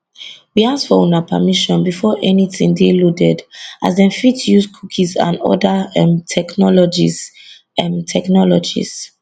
we ask for una permission before anytin dey loaded as dem fit dey use cookies and oda um technologies um technologies